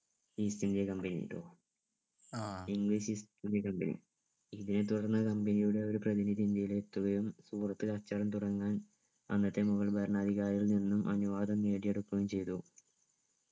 east India company ട്ടോ ഇന്ന് english east India company ഇതേ തുടർന്നു company യുടെ ഒരു പ്രതിനിധി ഇന്ത്യയിൽ എത്തുകയും പുറത്തു കച്ചവടം തുടങ്ങാൻ അന്നത്തെ മുഗൾ ഭരണാധികാരികളിൽ നിന്നും അനുവാദം നേടിയെടുക്കുകയും ചെയ്തു